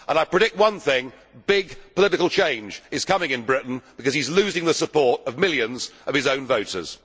I predict one thing big political change is coming in Britain, because he is losing the support of millions of his own voters.